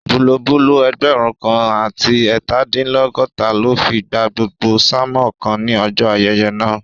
Bulobúló ẹgbẹ̀rún kan àti ẹẹtadinlọgọta ló fi gba gbogbo sánmòn kan ní ọjọ́ ayẹyẹ náà